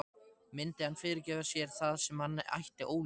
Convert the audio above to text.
Myndi hann fyrirgefa sér það sem hann ætti ólifað?